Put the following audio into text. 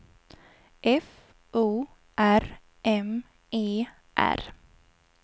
F O R M E R